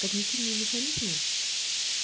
когнитивные механизмы